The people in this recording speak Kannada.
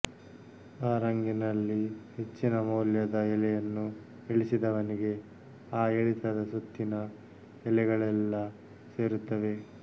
ಆ ರಂಗಿನಲ್ಲಿ ಹೆಚ್ಚಿನ ಮೌಲ್ಯದ ಎಲೆಯನ್ನು ಇಳಿಸಿದವನಿಗೆ ಆ ಇಳಿತದ ಸುತ್ತಿನ ಎಲೆಗಳೆಲ್ಲ ಸೇರುತ್ತವೆ